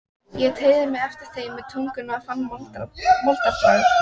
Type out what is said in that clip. Ég teygði mig eftir þeim með tungunni og fann moldarbragð.